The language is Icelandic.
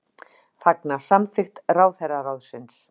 Fagna samþykkt ráðherraráðsins